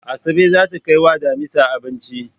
Asabe zata kai wa damisa abinci